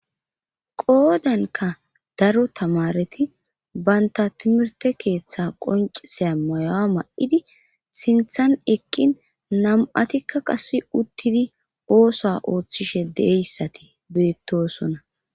qoodanka daro tamareti baynta timirte keeththe qonciseya mayowa ma7idi sinthan eqqin nam7atikka qass uttidi oosa ooththishe deeyssati beettosona